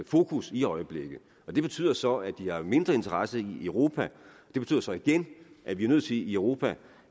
fokus i øjeblikket det betyder så at de har mindre interesse i europa det betyder så igen at vi er nødt til i europa